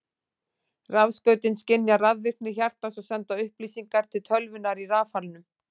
Rafskautin skynja rafvirkni hjartans og senda upplýsingar til tölvunnar í rafalnum.